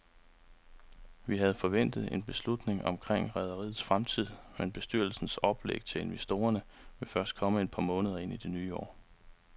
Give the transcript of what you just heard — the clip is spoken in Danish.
Vi havde forventet en beslutning omkring rederiets fremtid, men bestyrelsens oplæg til investorerne vil først komme et par måneder ind i det nye år.